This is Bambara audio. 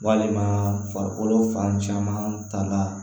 Walima farikolo fan caman ta la